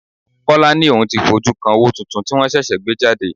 Kọ́lá ni òun ó ti fojú kan owó tuntun tí wọn ṣẹ̀ṣẹ̀ gbé jáde.